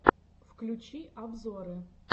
включи обзоры